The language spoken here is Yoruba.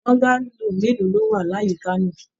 Bọ́ngálò mélòó lọ wá l'àyíká náà?